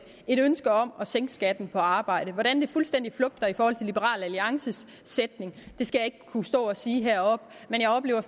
et ønske om at sænke skatten på arbejde hvordan det fuldstændig flugter i forhold til liberal alliances sætning skal jeg ikke kunne stå og sige heroppe men jeg oplever